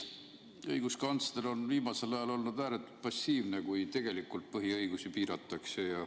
Õiguskantsler on viimasel ajal olnud ääretult passiivne, kui tegelikult põhiõigusi piiratakse.